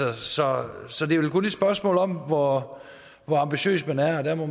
altså så det er vel kun et spørgsmål om hvor ambitiøs man er og jeg må